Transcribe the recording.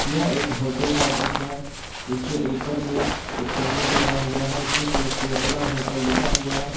यह एक होटल का दृश्य है इसके ऊपर में एक बैनर लगा हुआ है जिसमें केरला होटल लिखा हुआ है।